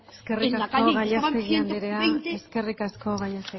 eskerrik asko gallastegui andrea eskerrik asko gallastegui